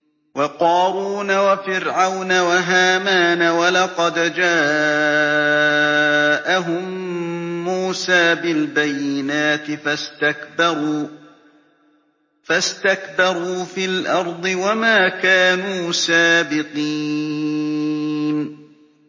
وَقَارُونَ وَفِرْعَوْنَ وَهَامَانَ ۖ وَلَقَدْ جَاءَهُم مُّوسَىٰ بِالْبَيِّنَاتِ فَاسْتَكْبَرُوا فِي الْأَرْضِ وَمَا كَانُوا سَابِقِينَ